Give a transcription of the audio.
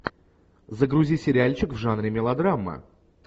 загрузи сериальчик в жанре мелодрама